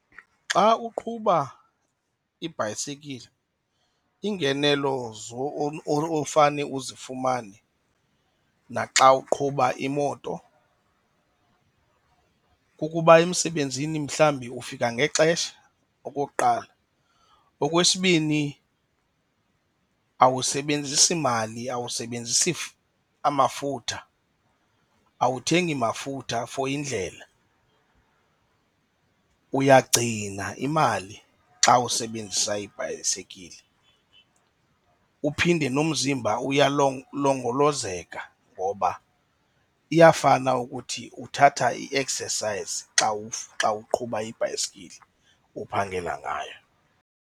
Xa uqhuba ibhayisekile, iingenelo ofane uzifumane naxa uqhuba imoto kukuba emsebenzini mhlawumbi ufika ngexesha okokuqala. Okwesibini awusebenzisi mali, awusebenzisi amafutha. Awuthengi mafutha for indlela, uyagcina imali xa usebenzisa ibhayisekile. Uphinde nomzimba uyalongolozeka ngoba iyafana ukuthi uthatha i-exercise xa xa uqhuba ibhayisekile uphangela ngayo.